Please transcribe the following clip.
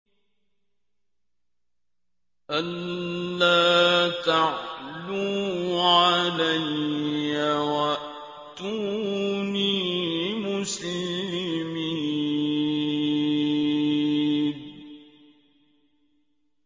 أَلَّا تَعْلُوا عَلَيَّ وَأْتُونِي مُسْلِمِينَ